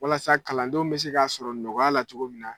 Walasa kalandenw bɛ se k'a sɔrɔ nɔgɔya la cogo min na